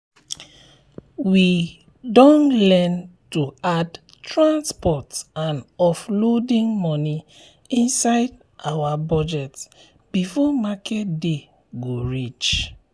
we don learn to add transport and offloading money inside our budget before market day go reach.